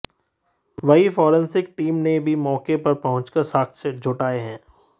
वहीं forensic team ने भी मौके पर पहुंचकर साक्ष्य जुटाए हैं